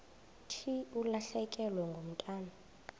thi ulahlekelwe ngumntwana